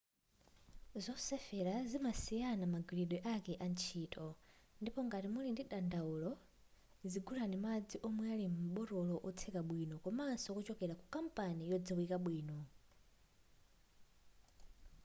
zosefera zimasiyana magwiridwe ake a ntchito ndipo ngati muli ndi dandaulo zigulani madzi omwe ali m'botolo lotseka bwino komaso wochokera ku kampani yodziwika bwino